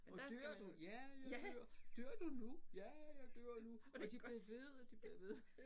Åh dør du? Ja jeg dør. Dør du nu? Ja jeg dør nu og de bliver ved og de bliver ved